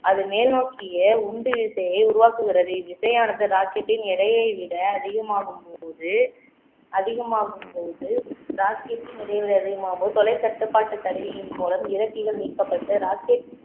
அது மேல் நோக்கிய உந்து விசையை உருவாக்குகிறது இவ்விசையானது rocket டின் எடையை விட அதிகமாகும்போது அதிகமாகும்போது rocket டின் இடைவெளி அதிகமாகும்போது தொலைக்கட்டுப்பாட்டு கருவியின் மூலம் இறக்கிகள் நீக்கப்பட்டு rocket